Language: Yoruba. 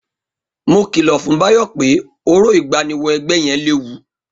Mo kìlọ̀ fún Báyọ̀ pé orò ìgbáníwọ-ẹgbẹ́ yẹn léwu.